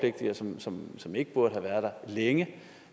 som som ikke burde have været der længe